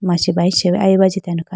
machi bayuchee aye bi ajitene khayi bi.